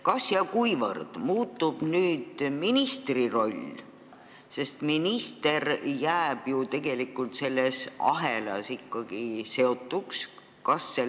Kas ja kuivõrd muutub nüüd ministri roll, sest minister jääb ju tegelikult selle ahelaga ikkagi seotuks?